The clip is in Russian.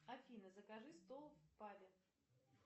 афина закажи стол в пабе